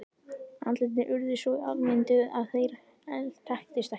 Andlitin urðu svo afmynduð að þeir þekktust ekki.